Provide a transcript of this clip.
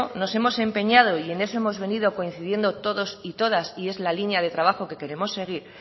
nos hemos empeñado y en eso hemos venido coincidiendo todas y todos y es la línea de trabajo que queremos seguir